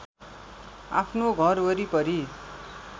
आफ्नो घर वरिपरि